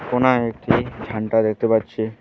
কোণায় একটি ঝান্ডা দেখতে পাচ্ছি।